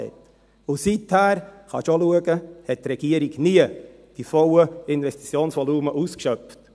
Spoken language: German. Und seither – das können Sie auch sehen – schöpfte die Regierung die vollen Investitionsvolumen nie aus.